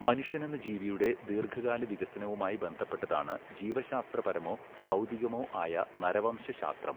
മനുഷ്യനെന്ന ജീവിയുടെ ദീർഘകാല വികസനവുമായി ബന്ധപ്പെട്ടതാണ് ജീവശാസ്ത്രപരമോ ഭൗതികമോ ആയ നരവംശശാസ്ത്രം.